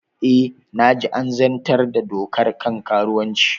E, na ji an zartar da dokar kan karuwanci